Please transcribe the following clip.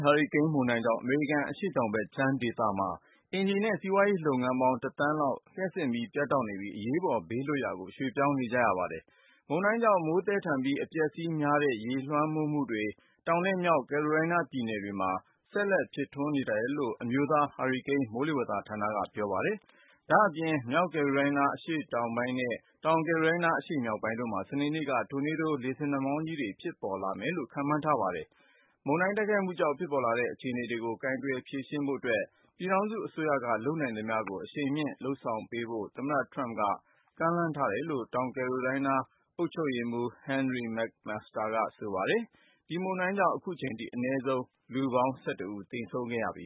ဟာရီကိန်း မုန်တိုင်းကြောင့် အမေရိကန် အရှေ့တောင်ဘက်ခြမ်းဒေသမှာ အိမ်ခြေနဲ့ စီးပွားရေးလုပ်ငန်းပေါင်း တသန်းလောက် လျှပ်စစ်မီးပြတ်တောက်နေပြီး ဘေးလွတ်ရာကို အရေးပေါ်ရွှေ့ပြောင်းနေကြပါတယ်။ ဒီမုန်တိုင်းကြောင့် မိုးသည်းထန်ပြီး အပျက်အစီးများတဲ့ ရေလွှမ်းမိုးမှုတွေ တောင်နဲ့မြောက် ကယ်ရိုလိုင်းနာပြည်နယ်မှာ ဆက်ဖြစ်နေတယ်လို့ အမျိုးသားဟာရီကိန်း မိုးလေဝသဌာနက ပြောပါယတ်။ ဒါ့အပြင် မြောက် ကယ်ရိုလိုင်းနား အရှေ့တောင်ပိုင်းနဲ့ တောင်ကယ်ရို လိုင်းနား အရှေ့မြောက်ပိုင်းတို့မှာ စနေနေ့မှာ တိုနေးဒိုး လေဆင်နှာမှောင်းကြီးတွေ ဖြစ်ပေါ်လာမယ်လို့ ခန့်မှန်းထားပါတယ်။ မုန်တိုင်းတိုက်ခတ်မှုကြောင့် ဖြစ်ပေါ်လာတဲ့ အခြေအနေကို ကိုင်တွယ် ဖြေရှင်းဖို့အတွက် ပြည်ထောင်စုအစိုးရက လုပ်နိုင်သမျှကို အရှိန်မြှင့်လုပ်ဆောင်ပေးဖို့ သမ္မတ ထရမ့်က ကမ်းလှမ်းထားတယ်လို့ တောင်ကယ်ရိုလိုင်းနား အုပ်ချုပ်ရေးမှူး Henry McMaster ကဆိုပါတယ်။ ဒီမုန်တိုင်းကြောင့် အခုချိန်ထိ အနည်းဆုံး လူပေါင်း (၁၁) ဦးသေဆုံးခဲ့ပြီ